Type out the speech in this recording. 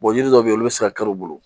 yiri dɔw bɛ yen olu bɛ se ka kɛr'u bolo